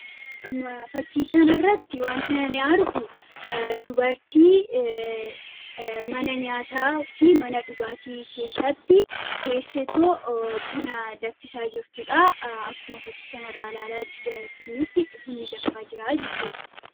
fakkii kana irratti wantin ani argu dubartii mana nyaataa fi mana dhugaatii keessatti teessetoo buna daffisaa jirtuudha akkuma fakkii kana irraa laalaa jirrutti bunni daffaa jiraa jechuudha